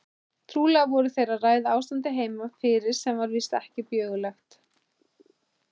Trúlega voru þeir að ræða ástandið heima fyrir sem var víst ekki björgulegt.